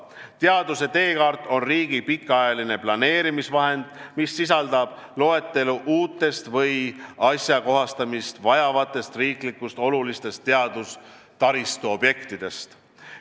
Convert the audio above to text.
Teaduse teekaart on riigi pikaajaline planeerimisvahend, mis sisaldab loetelu uutest või ajakohastamist vajavatest riiklikult olulistest teaduse taristuobjektidest.